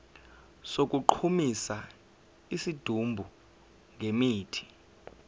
sokugqumisa isidumbu ngemithi